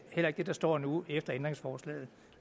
heller ikke det der står nu efter ændringsforslaget